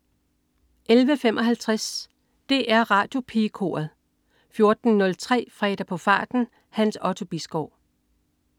11.55 DR Radiopigekoret 14.03 Fredag på farten. Hans Otto Bisgaard